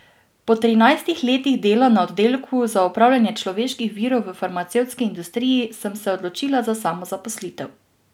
Po trinajstih letih dela na oddelku za upravljanje človeških virov v farmacevtski industriji sem se odločila za samozaposlitev.